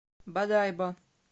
бодайбо